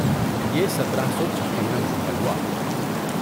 یہ سترہ سو چھپن میں مکمل ہوا